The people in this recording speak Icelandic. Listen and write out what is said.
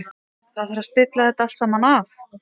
Það þarf að stilla þetta allt saman af.